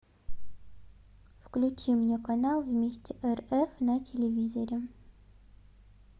включи мне канал вместе рф на телевизоре